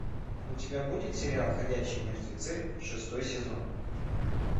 у тебя будет сериал ходячие мертвецы шестой сезон